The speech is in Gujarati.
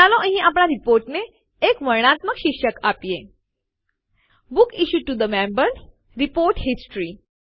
ચાલો અહીં આપણા રીપોર્ટને એક વર્ણનાત્મક શીર્ષક આપીએ books issued to Members report history